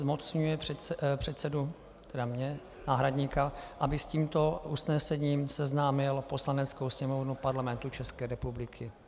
Zmocňuje předsedu - tedy mne, náhradníka -, aby s tímto usnesením seznámil Poslaneckou sněmovnu Parlamentu České republiky.